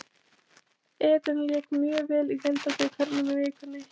Eden lék mjög vel í deildabikarnum í vikunni.